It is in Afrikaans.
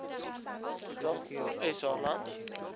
total sa land